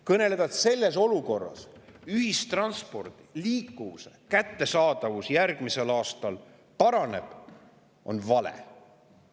Kõneleda, et selles olukorras ühistranspordi kättesaadavus ja liikuvus järgmisel aastal paranevad, on vale.